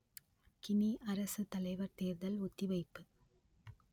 Guinea அரசுத்தலைவர் தேர்தல் ஒத்திவைப்பு